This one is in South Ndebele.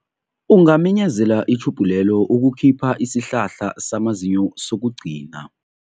Ungaminyezela itjhubhu lelo ukukhipha isihlahla samazinyo sokugcina.